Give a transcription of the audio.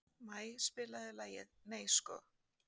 Maj, spilaðu lagið „Nei sko“.